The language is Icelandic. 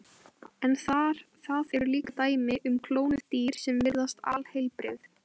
En það eru líka dæmi um klónuð dýr sem virðast alheilbrigð.